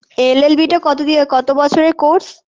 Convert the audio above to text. llB -টা কত দিয়ে কত বছরের course